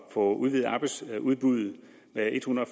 få udvidet arbejdsudbuddet med ethundrede